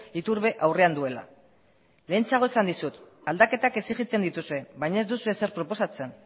iturbe aurrean duela lehentxeago esan dizut aldaketak exigitzen dituzue baina ez duzue ezer proposatzen